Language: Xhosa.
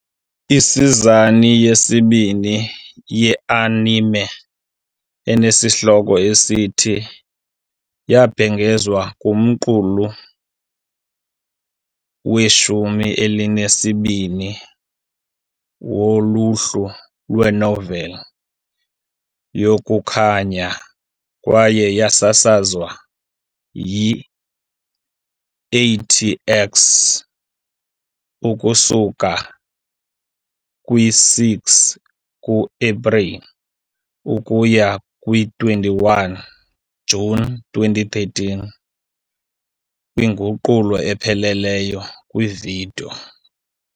Isizini yesibini yeanime, enesihloko esithi , yabhengezwa kumqulu weshumi elinesibini woluhlu lwenoveli yokukhanya kwaye yasasazwa yi- AT-X ukusuka kwi-6 ku-Epreli ukuya kwi-21 Juni 2013 kwinguqulo epheleleyo kwividiyo.